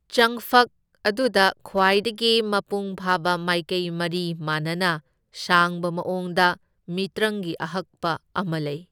ꯆꯪꯐꯛ ꯑꯗꯨꯗ ꯈ꯭ꯋꯥꯏꯗꯒꯤ ꯃꯄꯨꯡ ꯐꯥꯕ ꯃꯥꯏꯀꯩ ꯃꯔꯤ ꯃꯥꯟꯅꯅ ꯁꯥꯡꯕ ꯃꯑꯣꯡꯗ ꯃꯤꯇ꯭ꯔꯪꯒꯤ ꯑꯍꯛꯄ ꯑꯃ ꯂꯩ꯫